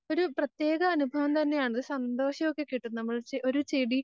ഒരു പ്രത്യേക അനുഭവം തന്നെയാണ് ഒരു സന്തോഷമൊക്കെകിട്ടും. ഒരു ചെടി